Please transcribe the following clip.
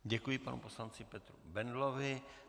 Děkuji panu poslanci Petru Bendlovi.